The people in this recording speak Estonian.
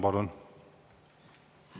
Palun!